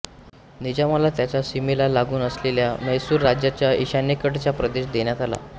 निजामाला त्याच्या सीमेला लागून असलेला म्हैसूर राज्याच्या ईशान्येकडचा प्रदेश देण्यात आला